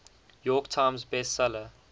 york times bestseller